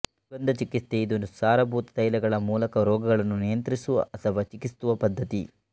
ಸುಗಂಧ ಚಿಕಿತ್ಸೆ ಇದು ಸಾರಭೂತ ತೈಲಗಳ ಮೂಲಕ ರೋಗಗಳನ್ನು ನಿಯಂತ್ರಿಸುವ ಅಥವಾ ಚಿಕಿತ್ಸಿಸುವ ಪದ್ದತಿ